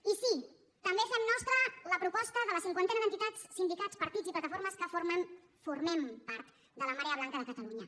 i sí també fem nostra la proposta de la cinquantena d’entitats sindicats partits i plataformes que formem part de la marea blanca de catalunya